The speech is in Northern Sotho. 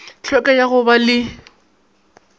hlweka ya go ba le